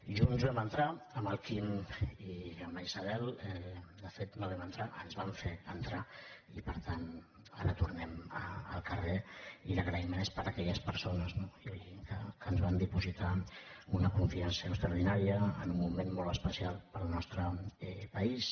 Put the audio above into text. junts vam entrar amb el quim i amb la isabel de fet no vam entrar ens van fer entrar i per tant ara tornem al carrer i l’agraïment és per aquelles persones no lògic que ens van dipositar una confiança extraordinària en un moment molt especial per al nostre país